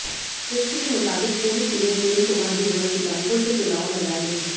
list के मुताबिक पूर्व सीएम प्रेम कुमार धूमल सुजानपुर से चुनाव मैदान में हैं